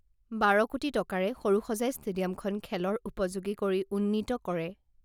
বাৰ কোটি টকাৰে সৰুসজাই ষ্টেডিয়ামখন খেলৰ উপযোগী কৰি উন্নীত কৰে